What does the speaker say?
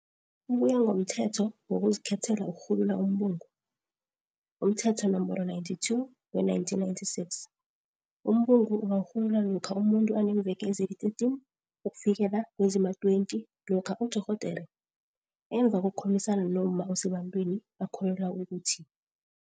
Ukuya ngokomThetho wokuziKhethela ukuRhulula umBungu, umThetho Nomboro 92 we-1996, umbungu ungarhululwa lokha umuntu aneemveke ezili-13 ukufikela kezima20 lokha udorhodere, emva kokukhulumisana nomma osebantwini akholelwa ukuthi,